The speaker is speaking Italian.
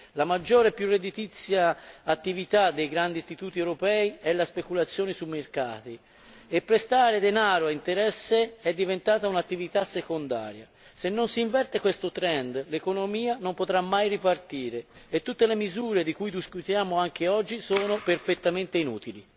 La maggiore e più redditizia attività dei grandi istituti europei è la speculazione sui mercati e prestare denaro a interesse è diventata un'attività secondaria se non si inverte questo trend l'economia non potrà mai ripartire e tutte le misure di cui discutiamo anche oggi sono perfettamente inutili.